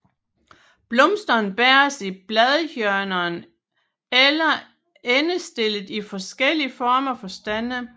Blomsterne bæres i bladhjørnerne eller endestillet i forskellige former for stande